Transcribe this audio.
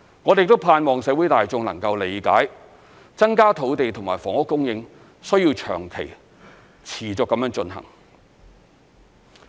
我們盼望社會大眾能夠理解，增加土地和房屋供應需要長期、持續地進行。